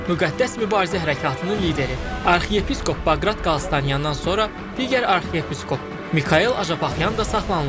Müqəddəs Mübarizə Hərəkatının lideri arxiyepiskop Baqrat Qalstanyandan sonra digər arxiyepiskop Mikayel Acapaxyan da saxlanılıb.